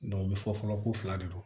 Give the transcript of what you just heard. u bɛ fɔ fɔlɔ ko fila de don